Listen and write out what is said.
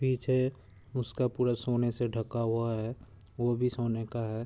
पीछे उसका पूरा सोने से ढका हुआ है। वो भी सोने का है।